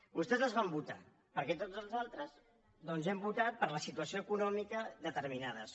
vostès els van votar perquè tots els altres doncs hem votat per la situació econòmica determinades coses